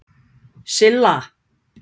Silla